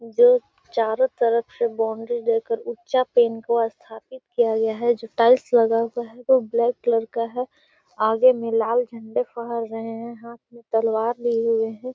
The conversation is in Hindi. जो चारो तरफ से बाउंड्री लेकर स्थापित किया गया है जो टाइल्स लगा हुआ है वो ब्लैक कलर का है आगे में लाल झंडे फहर रहे है हाथ में तलवार लिए हुए है।